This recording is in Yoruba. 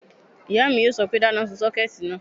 Ìyá mi yóò sọ pé, dáná sun sọ́kẹ̀tì náà!"